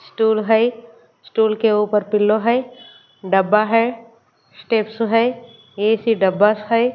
Stool है stool के ऊपर पिलो है डब्बा है स्टेप्स है ए_सी डब्बा है।